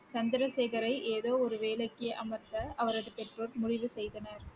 சந்திரசேகரை ஏதோ ஒரு வேலைக்கு அமர்த்த அவரது பெற்றோர் முடிவு செய்தனர்